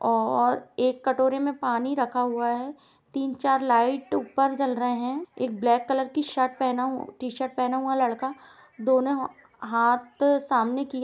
और एक कटोरे में पानी रखा हुआ है। तीन चार लाईट ऊपर जल रहे है एक ब्लैक कलर की शर्ट पहना टी शर्ट पहना हुआ लड़का दोनो हाथ सामने किया --